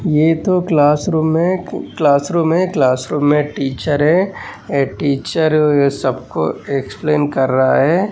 ये तो class room है क्लास रूममे टीचर है आ टीचर सबको इक्सप्लेन कर रहा है।